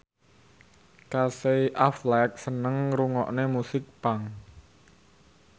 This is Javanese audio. Casey Affleck seneng ngrungokne musik punk